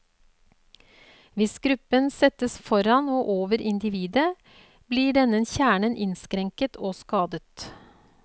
Hvis gruppen settes foran og over individet, blir denne kjernen innskrenket og skadet.